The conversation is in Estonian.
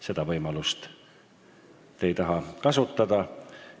Seda võimalust ei taha keegi kasutada.